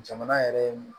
Jamana yɛrɛ ye mun